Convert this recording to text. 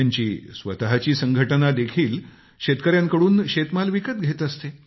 त्यांची स्वतःची संघटना देखील शेतकऱ्यांकडून शेतमाल विकत घेत असते